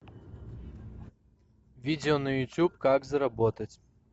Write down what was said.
видео на ютуб как заработать